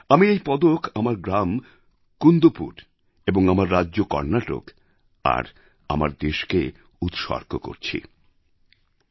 আমি এই পদক আমার গ্রাম কুন্দপুর এবং আমার রাজ্য কর্ণাটক আর আমার দেশকে উৎসর্গ করেছি